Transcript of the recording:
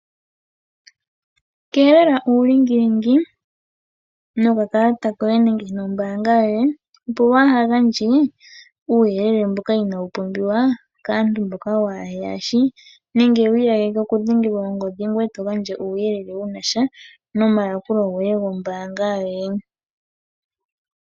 Keelela uulingilingi nokakalata koye nenge nombaanga yoye opo waaha gandje uuyelele woye mboka inaawu pumbiwa kaantu mboka waaheyashi nenge wiiyageke okudhengelwa ongodhi ngoye eto gandja uuyelele wunasha nomayakulo goye gombaanga yoye.